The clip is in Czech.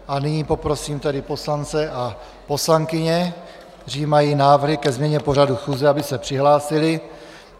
A nyní poprosím tedy poslance a poslankyně, kteří mají návrh ke změně pořadu schůze, aby se přihlásili.